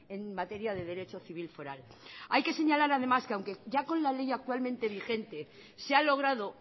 en materia de derecho civil foral hay que señalar además que aunque con la ley actualmente vigente se ha logrado